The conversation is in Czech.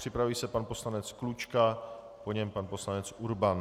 Připraví se pan poslanec Klučka, po něm pan poslanec Urban.